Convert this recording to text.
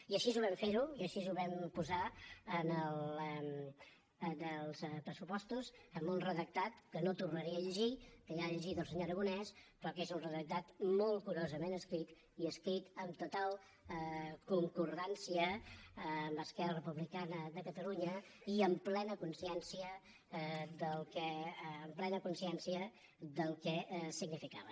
i així ho vam fer i així ho vam posar en els pressupostos amb un redactat que no tornaré a llegir que ja ha llegit el senyor aragonès però que és un redactat molt curosament escrit i escrit amb total concordança amb esquerra republicana de catalunya i amb plena consciència del que significava